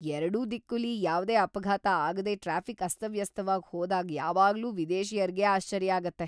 ಎರಡೂ ದಿಕ್ಕುಲಿ ಯಾವ್ದೇ ಅಪಘಾತ ಆಗದೆ ಟ್ರಾಫಿಕ್ ಅಸ್ತವ್ಯಸ್ತವಾಗ್ ಹೋದಾಗ್ ಯಾವಾಗ್ಲೂ ವಿದೇಶಿಯರ್ಗೆ ಆಶ್ಚರ್ಯ ಆಗುತ್ತೆ.